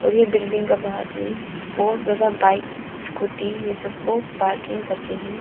और ये बिल्डिंग का बाहर में बहुत ज़्यादा बाइक स्कूटी ये सब को पार्किंग कर के है।